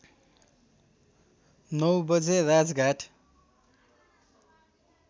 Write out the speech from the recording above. नौ बजे राजघाट